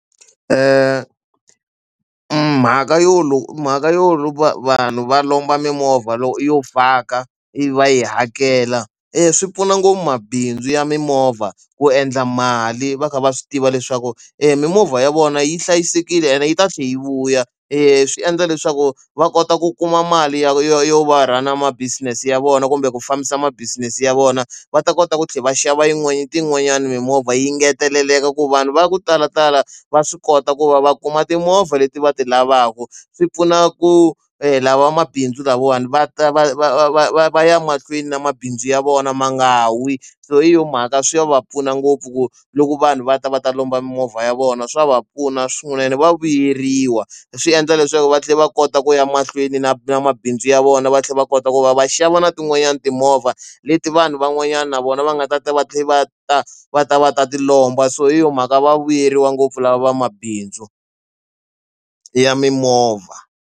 Mhaka yo mhaka yo vanhu va lomba mimovha loko yo faka yi va yi hakela eya swi pfuna ngopfu mabindzu ya mimovha ku endla mali va kha va swi tiva leswaku e mimovha ya vona yi hlayisekile ene yi ta tlhe yi vuya e swi endla leswaku va kota ku kuma mali yo va ra na ma business ya vona kumbe ku fambisa ma business ya vona va ta kota ku tlhela va xava yin'wanyani ti yin'wanyani mimovha yi engeteleleka ku vanhu va ya ku talatala va swi kota ku va va kuma timovha leti va ti lavaka swi pfuna ku hela vamabindzu lavawani va ta va va va va va va ya mahlweni na mabindzu ya vona ma nga wi so hi yo mhaka swi va pfuna ngopfu ku loko vanhu va ta va ta lomba mimovha ya vona swa va pfuna swin'wana ene va vuyeriwa swi endla leswaku va tlhela va kota ku ya mahlweni na na mabindzu ya vona va tlhela va kota ku va va xava na tin'wanyana timovha leti vanhu van'wanyana na vona va nga ta va tlhela va ta va ta va ta ti lomba so hi yo mhaka va vuyeriwa ngopfu lava vamabindzu ya mimovha.